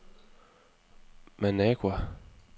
Managua